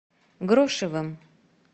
грошевым